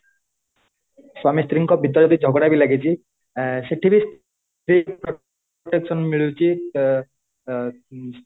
ସ୍ଵାମୀ ସ୍ତ୍ରୀଙ୍କ ଭିତରେ ଯଦି ଝଗଡା ବି ଲାଗିଛି ଆଁ ସେଠି ବି କୁ protection ମିଳୁଛି ଅ ଅ ଉମ